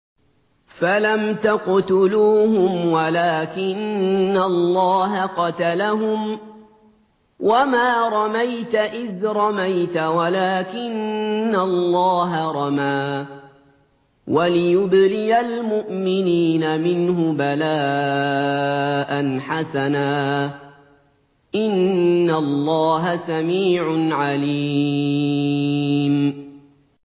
فَلَمْ تَقْتُلُوهُمْ وَلَٰكِنَّ اللَّهَ قَتَلَهُمْ ۚ وَمَا رَمَيْتَ إِذْ رَمَيْتَ وَلَٰكِنَّ اللَّهَ رَمَىٰ ۚ وَلِيُبْلِيَ الْمُؤْمِنِينَ مِنْهُ بَلَاءً حَسَنًا ۚ إِنَّ اللَّهَ سَمِيعٌ عَلِيمٌ